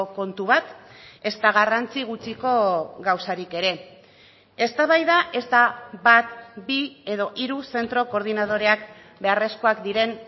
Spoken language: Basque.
kontu bat ezta garrantzi gutxiko gauzarik ere eztabaida ez da bat bi edo hiru zentro koordinadoreak beharrezkoak diren